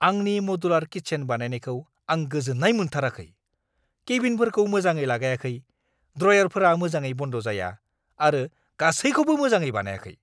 आंनि modular kitchen बानायनायखौ आं गोजोन्नाय मोनथाराखै। केबिनेटफोरखौ मोजाङै लागायाखै, ड्रयारफोरा मोजाङै बन्द जाया, आरो गासैखौबो मोजाङै बानायाखै।